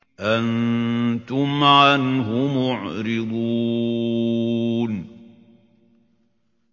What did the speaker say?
أَنتُمْ عَنْهُ مُعْرِضُونَ